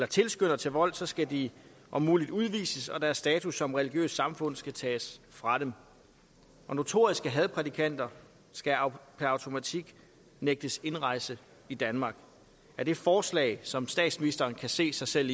tilskynder til vold skal de om muligt udvises og deres status som religiøst samfund skal tages fra dem og notoriske hadprædikanter skal per automatik nægtes indrejse i danmark er det forslag som statsministeren kan se sig selv